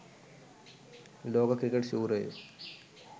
ලෝක ක්‍රිකට් ශූරයෝ